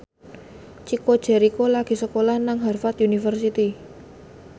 Chico Jericho lagi sekolah nang Harvard university